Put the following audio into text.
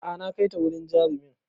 A'a na kaita wurin jarumin